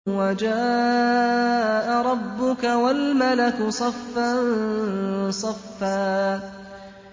وَجَاءَ رَبُّكَ وَالْمَلَكُ صَفًّا صَفًّا